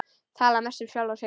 Tala mest um sjálfan sig.